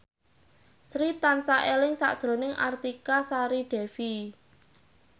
Sri tansah eling sakjroning Artika Sari Devi